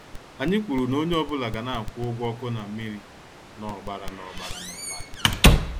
Anyị kwụrụ na-onye ọ bụla ga- na akwụ ụgwọ ọkụ na mmiri na- ọgbara na- ọgbara na- ọgbara.